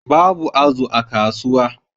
Babu azu a kasuwa